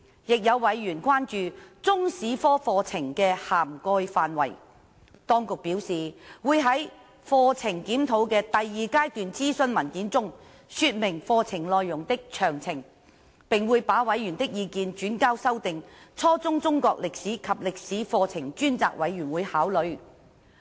亦有委員關注中史科課程的涵蓋範圍，政府當局表示會在課程檢討的第二階段諮詢文件中說明課程內容的詳情，並會把委員的意見轉交修訂初中中國歷史及歷史課程專責委員會考慮。